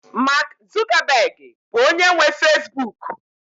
Mak Zukabegị bụ onye nwe fezbuk